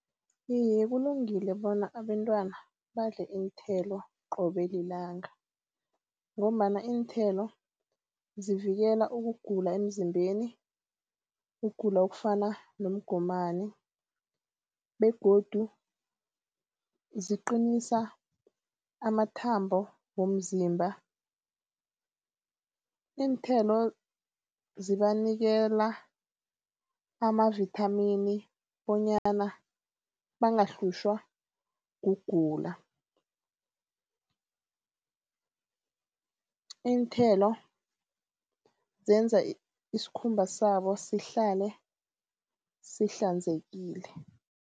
Iye kulungile bona abantwana badle iinthelo qobe lilanga ngombana iinthelo zivikela ukugula emzimbeni. Ukugula okufana nomgomani begodu ziqinisa amathambo womzimba. Iinthelo zibanikela amavithamini bonyana bangahlutjhwa kugula. Iinthelo zenza iskhumba sabo sihlale sihlanzekile.